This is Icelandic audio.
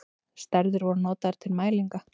Stærðir voru notaðar til mælinga.